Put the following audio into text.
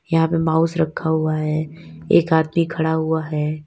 यहां पर माउस रखा हुआ है एक आदमी खड़ा हुआ है।